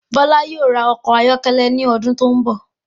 Bọla yóò rà ọkọ ayọkẹlẹ ní ọdún tó n bọ